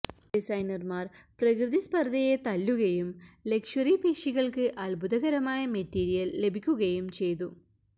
ഡിസൈനർമാർ പ്രകൃതി സ്പർധയെ തല്ലുകയും ലക്ഷ്വറി പേശികൾക്ക് അത്ഭുതകരമായ മെറ്റീരിയൽ ലഭിക്കുകയും ചെയ്തു